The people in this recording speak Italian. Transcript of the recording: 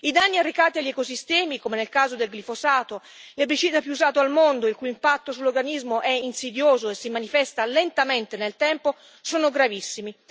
I danni arrecati agli ecosistemi, come nel caso del glifosato, l'erbicida più usato al mondo, il cui impatto sull'organismo è insidioso e si manifesta lentamente nel tempo, sono gravissimi.